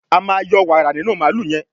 a ma yọ wààra nínú Mààlúù yen.